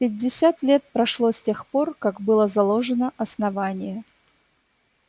пятьдесят лет прошло с тех пор как было заложено основание